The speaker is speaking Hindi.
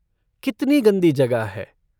कितनी गंदी जगह है।